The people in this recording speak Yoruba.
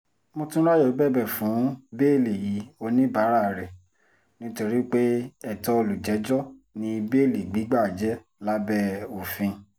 mòtúnráyọ̀ bẹ̀bẹ̀ fún bẹ́ẹ́lí oníbàárà rẹ̀ nítorí pé ètò olùjẹ́jọ́ ní béèlì gbígbà jẹ́ lábẹ́ òfin